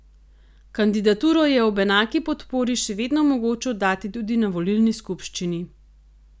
Kandidaturo je ob enaki podpori še vedno mogoče oddati tudi na volilni skupščini.